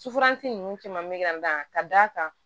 Sufansi ninnu caman be ka n da ka d'a kan